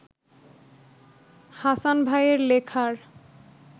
হাসান ভাইয়ের লেখার